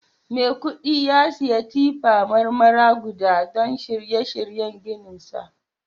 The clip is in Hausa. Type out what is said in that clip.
Mai kudi ya saya tippar Marmara guda don shirye shiryen ginsa